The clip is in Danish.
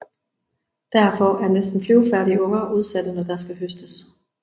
Derfor er næsten flyvefærdige unger udsatte når der skal høstes